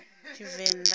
tshivenda